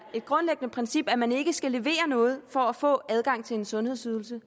grundlæggende princip at man ikke skal levere noget for at få adgang til en sundhedsydelse